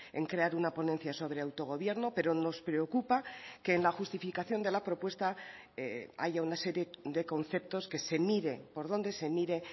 en crear una ponencia sobre autogobierno pero nos preocupa que en la justificación de la propuesta haya una serie de conceptos que se mire por donde se mire